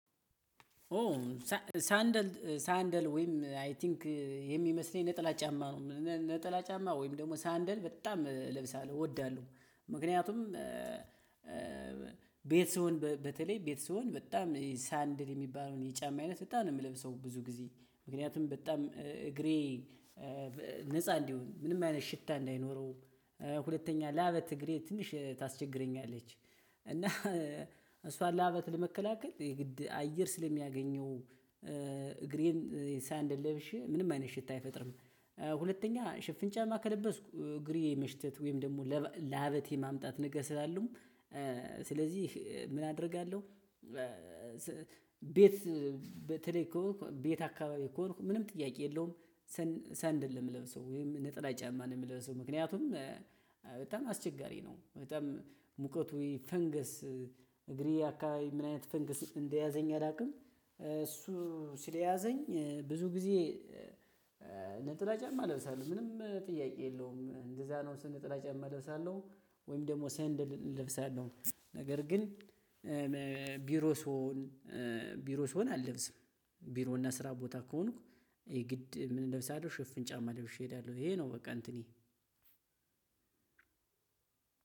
ኦ ሳንደል ሳንደል ወይም አይ ቲንክ የሚመስለኝ ነጠላ ጫማ ነው ነጠላ ጫማ ወይም ደግሞ ሳንደል በጣም እለብሳለሁ እወዳለሁ። ምክንያቱም ቤት ስሆን በተለይ ቤት ስሆን በጣም ሳንደል የሚባለውን የጫማ አይነት በጣም ነው የምለብሰው። ብዙ ጊዜ ምክንያቱም በጣም እግሬ ነፃ እንዲሆን ምንም አይነት ሽታ እንዳይኖረው። ሁለተኛ ለአበት እግሬ ትንሽ ታስቸግረኛለች። እና እሷን ለአበት ለመከላከል የግድ አየር ስለሚያገኘው እግሬን ሳይንድ ለብሼ ምንም አይነት ሽታ አይፈጥርም። ሁለተኛ ሽፍን ጫማ ከለበስኩ እግሬ መሽተት ወይም ደግሞ ለሀበቴ ማምጣት ነገር ስላሉም። ስለዚህ ምን አደርጋለሁ? ቤት ትልቅ ከሆንኩ ቤት አካባቢ ከሆንኩ ምንም ጥያቄ የለውም። ሰንደል የምለብሰው ወይም ነጠላ ጫማ ነው የምለብሰው። ምክንያቱም በጣም አስቸጋሪ ነው። በጣም ሙቀቱ ወይ ፈንገስ እግሬ አካባቢ ምን አይነት ፈንገስ እንደያዘኝ አላውቅም። እሱ ስለያዘኝ ብዙ ጊዜ። ነጠላ ጫማ እለብሳለሁ ምንም ጥያቄ የለውም እንደዛ ነው ነጠላ ጨማ ለብሳለሁ። ወይም ደግሞ ሴንደል ለብሳለሁ። ነገር ግን ቢሮ ስሆን ቢሮ ስሆን አልለብስም። ቢሮ እና ስራ ቦታ ከሆንኩ የግድ ምለብሰው አለው ሽፍን ጫማ ለብሼ እሄዳለሁ። ይሄ ነው። በቃ እንትኒ